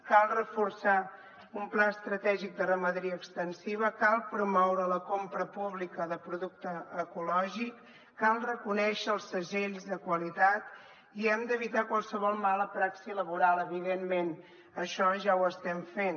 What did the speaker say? cal reforçar un pla estratègic de ramaderia extensiva cal promoure la compra pública de producte ecològic cal reconèixer els segells de qualitat i hem d’evitar qualsevol mala praxi laboral evidentment això ja ho estem fent